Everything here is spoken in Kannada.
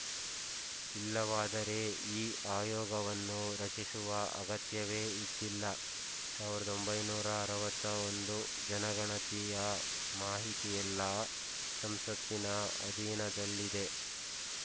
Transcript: ಇಲ್ಲವಾದರೆ ಈ ಆಯೋಗವನ್ನು ರಚಿಸುವ ಅಗತ್ಯವೇ ಇದ್ದಿಲ್ಲ ಸಾವಿರದ ಒಂಬೈನೂರ ಅರವತ್ತ್ ಒಂದು ಜನಗಣತಿಯ ಮಾಹಿತಿಯೆಲ್ಲ ಸಂಸತ್ತಿನ ಅಧೀನದಲ್ಲಿದೆ